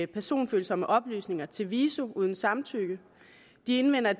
personfølsomme oplysninger til viso uden samtykke de indvender